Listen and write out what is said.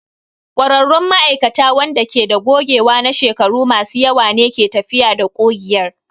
ƙwararrun ma'aikata waɗanda ke da gogewa na shekaru masu yawa ne ke tafiyar da ƙugiyar.